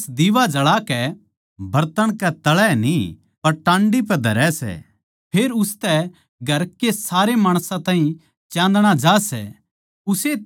अर माणस दीवा जळा कै बरतन कै तळै न्ही पर टांडी पे धरै सै फेर उसतै घर के सारे माणसां ताहीं चान्दणा ज्या सै